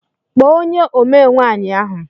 Kpọọ ónyé omee nwaanyị ahụ!!